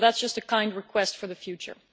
So that is just a kind request for the future.